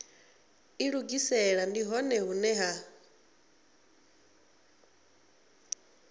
ilugisela ndi hone hune ha